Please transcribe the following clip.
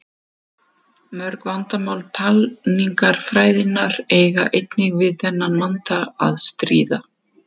Mörg vandamál talningarfræðinnar eiga einnig við þennan vanda að stríða.